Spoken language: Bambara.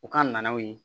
U ka naw ye